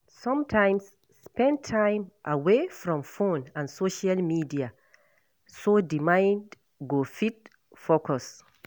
Sometimes spend time away from phone and social media so di mind go fit focus